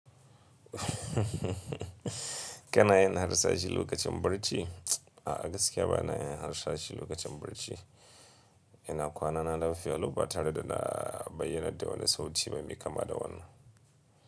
Kana yin harsashi lokacin barci? A'a gaskiya bana yin harsashi lokacin barci. Ina kwana na lafiya lau ba tare da na bayyanar da wani sauti mai miƙama da wannan.